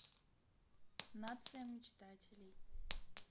нация мечтателей